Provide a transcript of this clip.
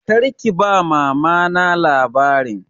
Kar ki ba Mama na labarin!